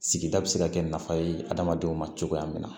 Sigida bɛ se ka kɛ nafa ye hadamadenw ma cogoya min na